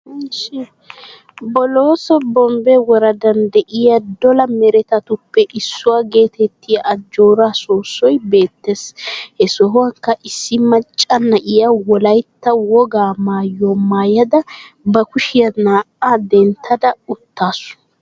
boloosso bombbe woradan de7iya dolaa meretattuppe issuwa getettiya ajoora soosoy beettees. he sohuwankka issi maccaa naa7iya wolaytta woga maayuwa maayada ba kushiya naa7a denttada uttasu.